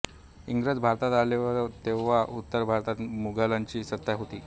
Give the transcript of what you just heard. इंग्रज भारतात आले तव्हा उत्तर भारतात मुघलांची सत्ता होती